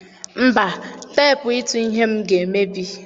Mba, teepụ ịtụ ihe m ga-emebi.